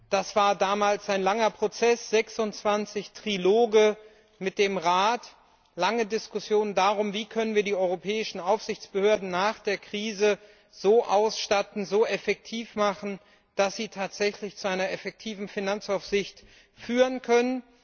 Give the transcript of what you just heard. Das war damals ein langer Prozess 26 Triloge mit dem Rat, lange Diskussionen darum, wie wir die europäischen Aufsichtsbehörden nach der Krise so ausstatten und so effektiv machen können, dass sie tatsächlich zu einer wirksamen Finanzaufsicht führen können.